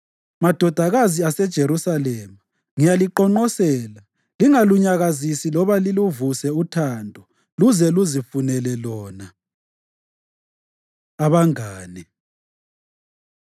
Madodakazi aseJerusalema, ngiyaliqonqosela: Lingalunyakazisi loba liluvuse uthando luze luzifunele lona. Abangane